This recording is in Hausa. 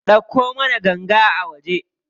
Ɗauko mana ganga a waje.